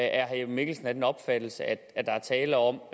er herre jeppe mikkelsen af den opfattelse at der er tale om